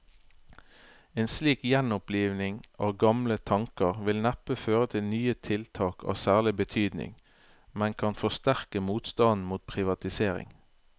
En slik gjenoppliving av gamle tanker vil neppe føre til nye tiltak av særlig betydning, men kan forsterke motstanden mot privatisering.